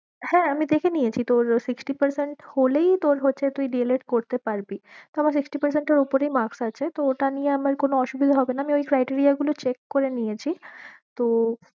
হ্যাঁ আমি দেখে নিয়েছি তোর sixty percent হলেই তোর হচ্ছে তুই D. el. ed করতে পারবি, তো আমার sixty percent এর উপরেই marks আছে তো ওটা নিয়ে আমার কোনো অসুবিধে হবে না আমি ওই criteria গুলো check করে নিয়েছি তো